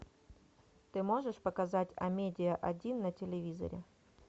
ты можешь показать амедиа один на телевизоре